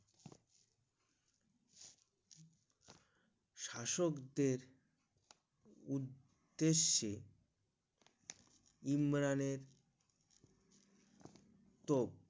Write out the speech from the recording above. শাসকদের উদ্দেশে ইমরানের তো